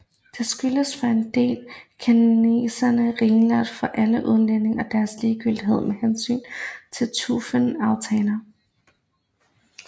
Den skyldtes for en del kinesernes ringeagt for alle udlændinge og deres ligegyldighed med hensyn til trufne aftaler